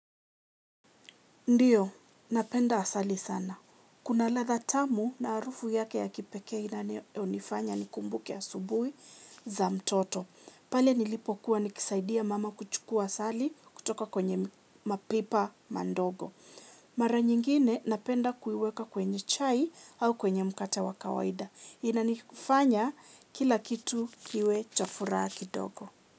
Ndiyo, napenda asali sana. Kuna radha tamu na harufu yake ya kipekee inayo nifanya nikumbuke asubuhi za mtoto. Pale nilipokuwa nikisaidia mama kuchukua asali kutoka kwenye mapipa madogo. Mara nyingine napenda kuiweka kwenye chai au kwenye mkate wa kawaida. Inanifanya kila kitu kiwe cha furaha kidogo.